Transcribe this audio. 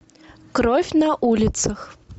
кровь на улицах